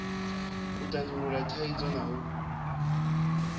u tandulula thaidzo na u